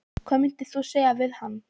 Hvað myndir þú segja við hann?